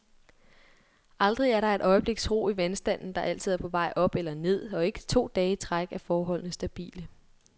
Aldrig er der et øjebliks ro i vandstanden, der altid er på vej op eller ned, og ikke to dage i træk er forholdene stabile.